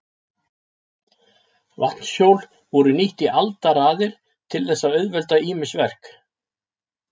Vatnshjól voru nýtt í aldaraðir til þess að auðvelda ýmis verk.